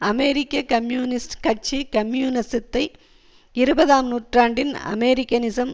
அமெரிக்க கம்யூனிஸ்டுக் கட்சி கம்யூனிசத்தை இருபதாம் நூற்றாண்டின் அமெரிக்கனிசம்